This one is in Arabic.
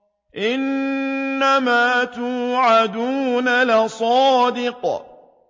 إِنَّمَا تُوعَدُونَ لَصَادِقٌ